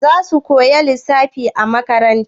Za mu koya lissafi a makaranta?